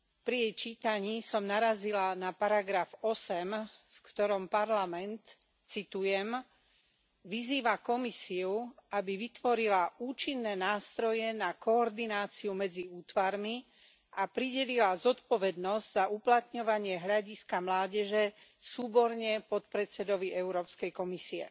Pri jej čítaní som narazila na odsek 8, v ktorom Parlament, citujem, vyzýva Komisiu, aby vytvorila účinné nástroje na koordináciu medzi útvarmi a pridelila zodpovednosť za uplatňovanie hľadiska mládeže súborne podpredsedovi Európskej komisie.